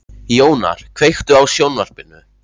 Jónar, kveiktu á sjónvarpinu.